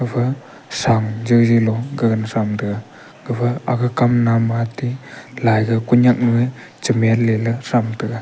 gafa sang jawjaw lo gagana thram taiga gafa aka kamnam matey laiga koinyaknue chemian leley thram taiga.